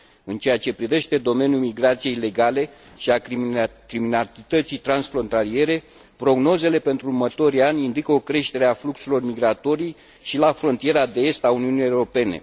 În ceea ce privește domeniul migrației ilegale și al criminalității transfrontaliere, prognozele pentru următorii ani indică o creștere a fluxurilor migratorii și la frontiera de est a Uniunii Europene